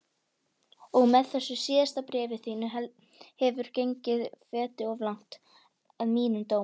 Og með þessu síðasta bréfi þínu hefurðu gengið feti of langt, að mínum dómi.